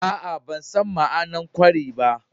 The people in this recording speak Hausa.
Aa, ban san ma'anar kwari ba.